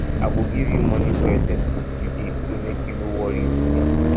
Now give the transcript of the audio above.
i go give you money for your textbook today so make you no worry too much